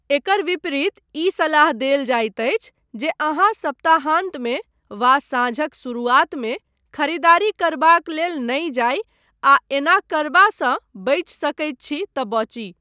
एकर विपरीत ई सलाह देल जाइत अछि जे अहाँ सप्ताहान्तमे वा साँझक शुरुआतमे खरीदारी करबाक लेल नहि जाइ आ एना करबासँ बचि सकैत छी तँ बची।